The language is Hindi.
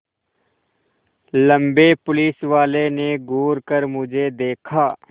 लम्बे पुलिसवाले ने घूर कर मुझे देखा